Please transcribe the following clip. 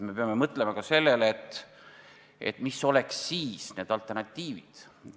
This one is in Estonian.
Me peame mõtlema ka sellele, mis oleks alternatiivid.